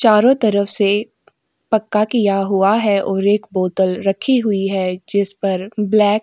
चारों तरफ से पक्का किया हुआ है और एक बोतल रखी हुई है जिस पर ब्लैक ।